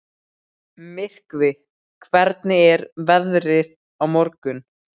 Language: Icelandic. Myrkvi, hvernig er veðrið á morgun?